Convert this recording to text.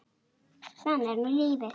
Þannig er nú lífið.